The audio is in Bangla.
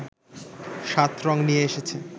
৭ রং নিয়ে এসেছে